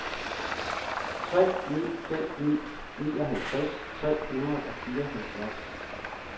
tre ni fem ni nioghalvtreds tre hundrede og fireoghalvfjerds